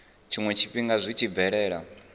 tshiwe tshifhinga zwi tshi bvelela